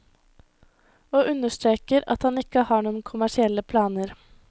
Og understreker at han ikke har noen kommersielle planer.